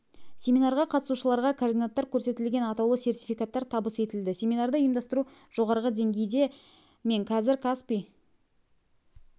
семинарға қатысушыларға координаттар көрсетілген атаулы сертификаттар табыс етілді семинарды ұйымдастыру жоғары деңгейде мен қазір каспий